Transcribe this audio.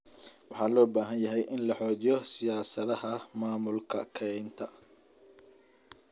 Waxaa loo baahan yahay in la xoojiyo siyaasadaha maamulka kaynta.